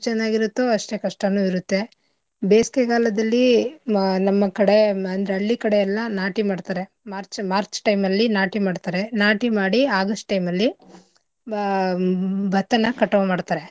ಚೆನ್ನಾಗಿ ಇರತ್ತೋ ಅಷ್ಟೇ ಕಷ್ಟನೂ ಇರತ್ತೆ. ಬೇಸಿಗೆಗಾಲದಲ್ಲಿ ನಮ್ಮ ಕಡೆ ಅಂದ್ರೆ ಹಳ್ಳಿ ಕಡೆ ಎಲ್ಲ ನಾಟಿ ಮಾಡ್ತಾರೆ March, March time ಅಲ್ಲಿ ನಾಟಿ ಮಾಡ್ತರೆ ನಾಟಿ ಮಾಡಿ August time ಅಲ್ಲಿ ಬ~ ಭತ್ತನ ಕಟಾವ್ ಮಾಡ್ತರೆ.